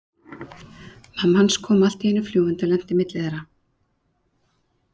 Mamma hans kom allt í einu fljúgandi og lenti á milli þeirra.